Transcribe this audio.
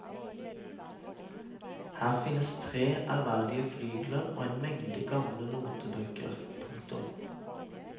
Her finnes tre ærverdige flygler og en mengde gamle notebøker. punktum